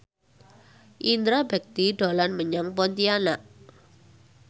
Indra Bekti dolan menyang Pontianak